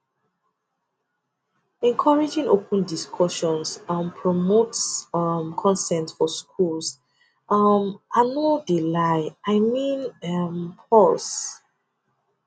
encouraging open discussions um promotes um consent for schools um ah i no de lie i mean um pause